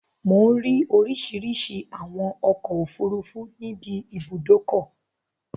Mò ń rí oríṣìíríṣìí àwọn ọkọ̀-òfurufú níbi ibùdókọ.